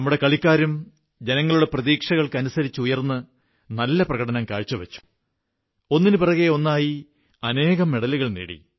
നമ്മുടെ കളിക്കാരും ജനങ്ങളുടെ പ്രതീക്ഷകൾക്കനുസരിച്ചുയർന്ന് നല്ല പ്രകടനം കാഴ്ചവച്ചു ഒന്നിനുപിറകെ ഒന്നായി അനേകം മെഡലുകൾ നേടി